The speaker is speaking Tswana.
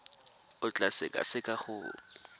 o tla e sekaseka go